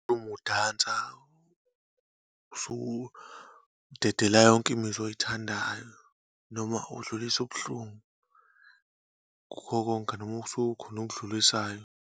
Uma udansa, usuke udedela yonke imizwa oyithandayo, noma udlulisa ubuhlungu kukho konke, noma kusuke kukhona okudlulisayo.